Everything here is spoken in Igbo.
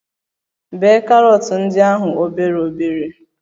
Bee karọt ndi ahụ obere obere